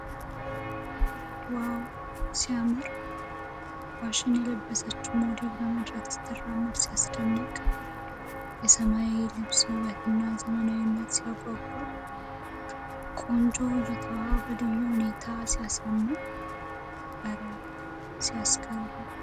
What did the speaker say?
ዋው ሲያምር! ፋሽን የለበሰችው ሞዴል በመድረክ ስትራመድ ሲያስደንቅ ! የሰማያዊው ልብስ ውበትና ዘመናዊነት ሲያጓጓ ! ቆንጆ እይታዋ በልዩ ሁኔታ ሲያሳምን ! እረ ሲያስገርም!